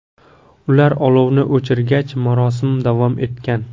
Ular olovni o‘chirgach, marosim davom etgan.